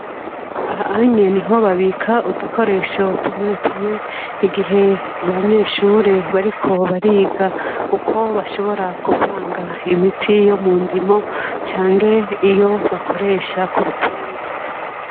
Ahanye ni babika udukoresho tumwe tumwe igihe abanyeshure bariko bariga uko bashobora kuvanga imiti yo mu ndimo canke iyo bakoresha ku bitungwa.